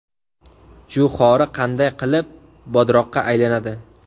Jo‘xori qanday qilib bodroqqa aylanadi?